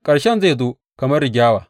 Ƙarshen zai zo kamar rigyawa.